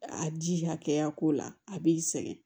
A ji hakɛya ko la a b'i sɛgɛn